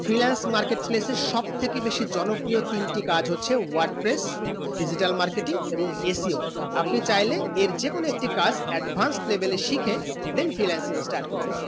freelance market place এ সব থেকে জনপ্রিয় তিন তে কাজ হচ্ছে wordprees digital marketing এবং ACO আপনি চাইলে যে এর যেকোনো একটি কাজ advance level এ শিখে then freelancing start করতে পারেন